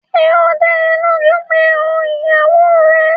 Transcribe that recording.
Ṣé ó dá ẹ lójú pé ó ìyàwó rẹ̀?